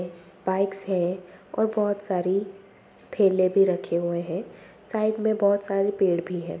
Bikes हैं और बहोत सारी थैले भी रखे हुए हैं। साइड में बहोत सारे पेड़ भी हैं।